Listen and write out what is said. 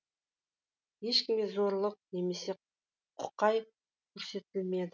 ешкімге зорлық немесе құқай көрсетілмеді